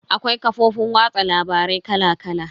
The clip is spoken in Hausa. Akwai kafofin watsa labarai kala kala.